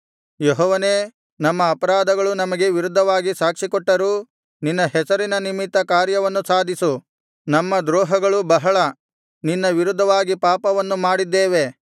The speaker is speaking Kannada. ಯೆಹೋವನೇ ನಮ್ಮ ಅಪರಾಧಗಳು ನಮಗೆ ವಿರುದ್ಧವಾಗಿ ಸಾಕ್ಷಿಕೊಟ್ಟರೂ ನಿನ್ನ ಹೆಸರಿನ ನಿಮಿತ್ತ ಕಾರ್ಯವನ್ನು ಸಾಧಿಸು ನಮ್ಮ ದ್ರೋಹಗಳು ಬಹಳ ನಿನ್ನ ವಿರುದ್ಧವಾಗಿ ಪಾಪವನ್ನು ಮಾಡಿದ್ದೇವೆ